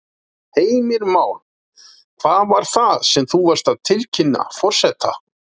Heimir Már: Hvað var það sem þú varst að tilkynna forseta?